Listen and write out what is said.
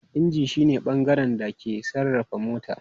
Inji shi ne bangaren da ke sarrafa motar.